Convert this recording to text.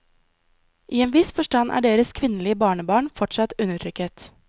I en viss forstand er deres kvinnelige barnebarn fortsatt undertrykket.